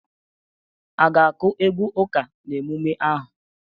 A ga-akụ egwu ụka n'emume ahụ?